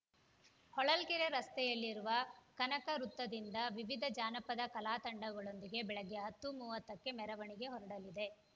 ಹೊಳಲ್ಕೆರೆ ರಸ್ತೆಯಲ್ಲಿರುವ ಕನಕ ವೃತ್ತದಿಂದ ವಿವಿಧ ಜಾನಪದ ಕಲಾತಂಡಗಳೊಂದಿಗೆ ಬೆಳಗ್ಗೆ ಹತ್ತು ಮೂವತ್ತಕ್ಕೆ ಮೆರವಣಿಗೆ ಹೊರಡಲಿದೆ